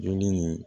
Dumuni ni